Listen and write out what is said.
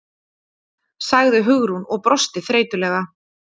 sagði Hugrún og brosti þreytulega.